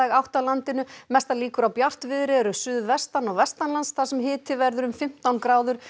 átt á landinu mestar líkur á bjartviðri eru suðvestan og þar sem hiti verður um fimmtán gráður